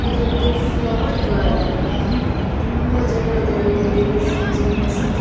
ಇದು ಒಂದು flower garden ತುಂಬಾ ಜನ ಇದಾರೆ ಇಲ್ಲಿ ಲೇಡೀಸ್ ಜೆಂಟ್ಸ್ .